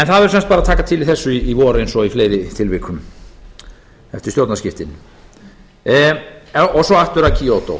en það verður sem sagt að taka til í þessu í vor eins og í fleiri tilvikum eftir stjórnarskiptin og svo aftur að kyoto